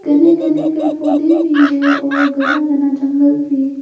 घने घने पेड़ पौधे भी है और घना घना जंगल भी।